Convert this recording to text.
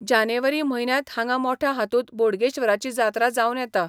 जानेवारी म्हयन्यांत हांगा मोठ्या हातूंत बोडगेश्वराची जात्रा जावन येता.